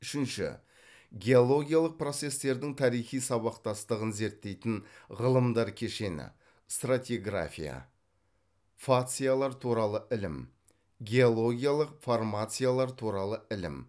үшінші геологиялық процестердің тарихи сабақтастығын зерттейтін ғылымдар кешені стратиграфия фациялар туралы ілім геологиялық формациялар туралы ілім